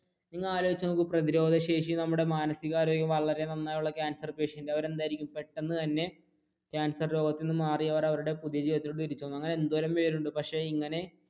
ഒന്നാലോചിച്ചു നോക്ക് പ്രതിരോധ ശേഷി നമ്മുടെ മാനസിക ആരോഗ്യം വളരെ നന്നായുള്ള cancer patient അവർ എന്തായിരിക്കും പെട്ടെന്ന് തന്നെ cancer രോഗത്തിൽ നിന്ന് മാറി അവർ അവരുടെ അങ്ങനെ എന്തോരം പേരുണ്ട് പക്ഷെ ഇങ്ങനെ